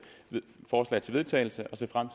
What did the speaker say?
forslag til vedtagelse og ser frem